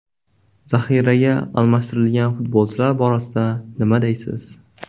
Zaxiraga almashtirgan futbolchilar borasida nima deysiz?